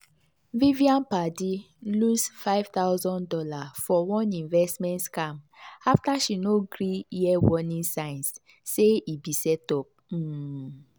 vivian padi lose five thousand dollars for one investment scam after she no gree hear warning signs say e be setup. um